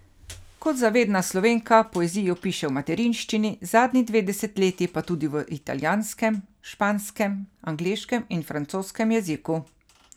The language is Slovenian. Kot zavedna Slovenka poezijo piše v materinščini, zadnji dve desetletji pa tudi v italijanskem, španskem, angleškem in francoskem jeziku.